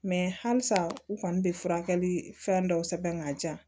halisa u kɔni bɛ furakɛli fɛn dɔw sɛbɛn ka di yan